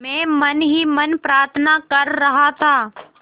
मैं मन ही मन प्रार्थना कर रहा था